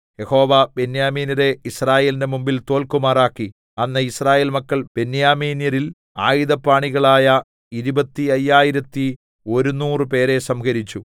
യഹോവ ബെന്യാമീന്യരെ യിസ്രായേലിന്റെ മുമ്പിൽ തോല്ക്കുമാറാക്കി അന്ന് യിസ്രായേൽ മക്കൾ ബെന്യാമീന്യരിൽ ആയുധപാണികളായ ഇരുപത്തി അയ്യായിരത്തി ഒരുനൂറ് പേരെ സംഹരിച്ചു